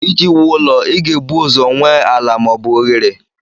Iji wuo ụlọ, ị ga-ebu ụzọ nwee ala ma ọ bụ oghere.